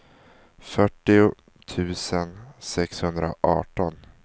fyrtio tusen sexhundraarton